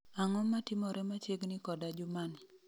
Ang'o matimore machiegni koda juma ni